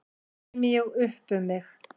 Þá kæmi ég upp um mig.